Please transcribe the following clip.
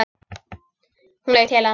Hún leit til hans.